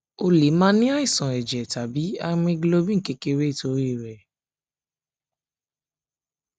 o lè máa ní àìsàn ẹjẹ tabi haemoglobin kékeré nítorí rẹ